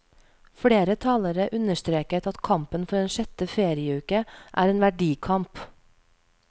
Flere talere understreket at kampen for en sjette ferieuke er en verdikamp.